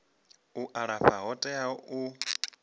u alafha yo teaho u